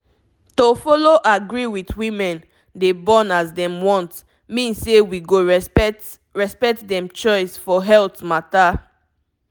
to follow agree with women dey born as dem want mean say we go respect respect dem choice for health matter